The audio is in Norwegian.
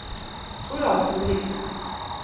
Toralf Ulriksen